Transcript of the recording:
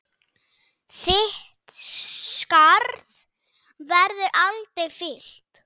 Þitt skarð verður aldrei fyllt.